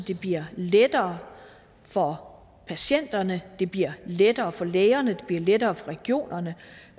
det bliver lettere for patienterne det bliver lettere for lægerne det bliver lettere for regionerne